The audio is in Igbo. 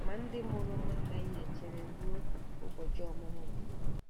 Ma ndị mụrụ m anaghị echere ruo ụbọchị ọmụmụ m.